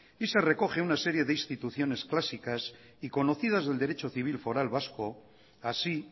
y se recoge una serie de instituciones clásicas y conocidas del derecho civil foral vasco así